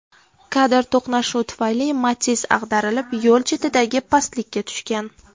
Kadr To‘qnashuv tufayli Matiz ag‘darilib, yo‘l chetidagi pastlikka tushgan.